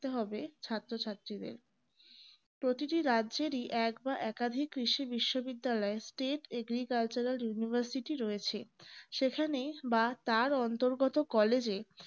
হবে ছাত্রছাত্রিদের প্রতিটি রাজ্যেরই এক বা একাধিক কৃষি বিশ্ববিদ্যালয় তে agricultural university রয়েছে সেখানে বা তার অন্তরগত college এ